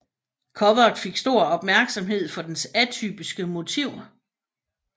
Coveret fik stor opmærksomhed for dens atypiske motiv